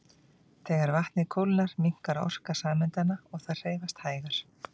Þegar vatnið kólnar minnkar orka sameindanna og þær hreyfast hægar.